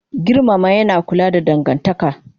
Girmama yana kula da dangantaka